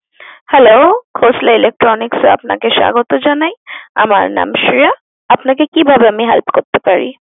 Hello khosla electronics আপনাকে স্বাগত জানাই। আমার নাম শ্রেয়া। আপনাকে কিভাবে আমি help করতে পারি?